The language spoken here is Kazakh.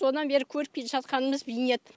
содан бері көріп келе жатқанымыз бейнет